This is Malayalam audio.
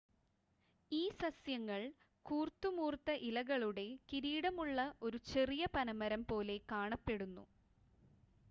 ഈ സസ്യങ്ങൾ കൂർത്തുമൂർത്ത ഇലകളുടെ കിരീടമുള്ള ഒരു ചെറിയ പനമരം പോലെ കാണപ്പെടുന്നു